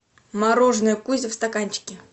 мороженое кузя в стаканчике